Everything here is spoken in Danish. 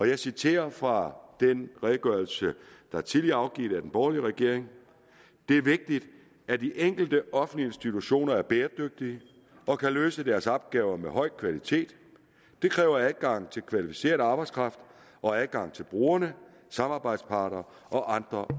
jeg citerer fra den redegørelse der tidligere er afgivet af den borgerlige regering det er vigtigt at de enkelte offentlige institutioner er bæredygtige og kan løse deres opgaver med en høj kvalitet det kræver adgang til kvalificeret arbejdskraft og adgang til brugere samarbejdspartnere og andre